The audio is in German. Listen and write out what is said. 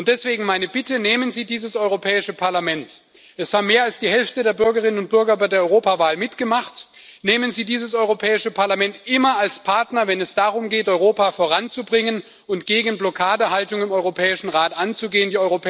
Deswegen meine Bitte Nehmen Sie dieses Europäische Parlament es haben mehr als die Hälfte der Bürgerinnen und Bürger bei der Europawahl mitgemacht immer als Partner, wenn es darum geht, Europa voranzubringen und gegen Blockadehaltung im Europäischen Rat anzugehen.